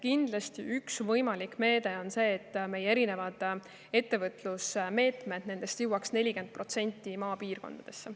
Kindlasti üks võimalik on see, et meie ettevõtlusmeetmetest jõuaks 40% maapiirkondadesse.